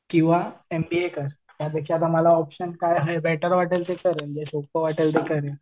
किंवा एमबीए कर. त्यापेक्षा ऑप्शन काय बेटर वाटेल म्हणजे सोपं वाटेल ते करेन.